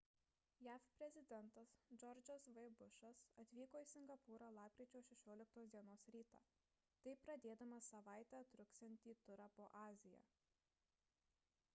jav prezidentas džordžas v bušas atvyko į singapūrą lapkričio 16 d rytą taip pradėdamas savaitę truksiantį turą po aziją